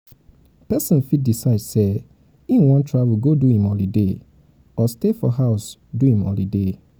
persin fit decide say im won travel go do im holiday or stay for house do im holiday